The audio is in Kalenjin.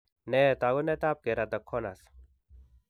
Nee taakunetaab keratoconus.